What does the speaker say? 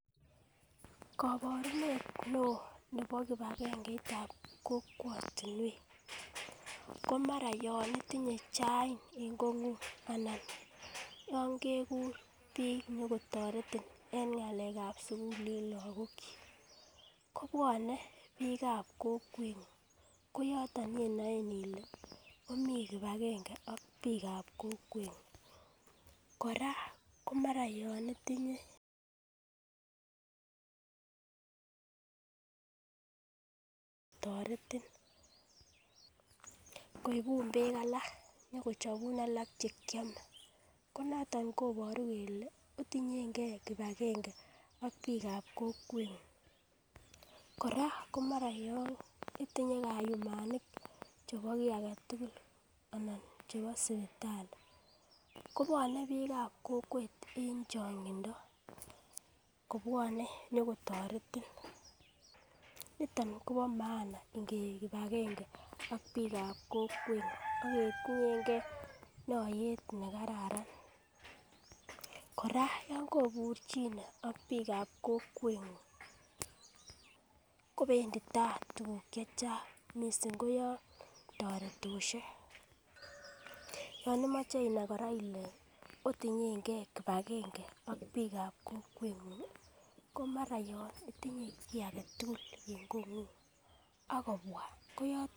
Koborunet neo nebo kipagengeitab kokwotunwek komara yon itinye chain en kongung anan yon kegur bik nyikotoretin en ngalekab sukul en lokok kuk kobwone bikab kokwengun koyoton yeinoe ile omii kipagenge ak bikab kokwengun. Koraa komara yon itinye toreti koibu beek alak nyokochobun alak chekiome ko noton koboru kele otinyengee kipagenge ak bikab kokwengun. Koraa komara yon itinye kayumanik chebo kii agetutuk anan chebo sipitali kobwone bikab kokwet en chongindo kobwone nyokotoretin niton Kobo maana ngeib kipagenge ak bikab kokwengun ak keyinyengee notet nekararan. Koraa yon koburchine ak bikab kokwengun kobendii tai tukuk chechang missing koyon toretoshek, yon imoche koraa inai ile otinyengee kipagenge ak bikab kokwengun komara yon itinye kii agetutuk en kongung ak kobwa koyotet.